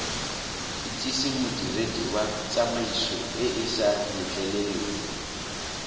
itsise modiredi wa tsamaisoeesa letleleleng